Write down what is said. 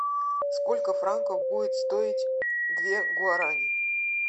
сколько франков будет стоить две гуарани